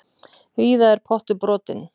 Víða er pottur brotinn.